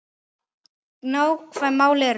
Nákvæm mál eru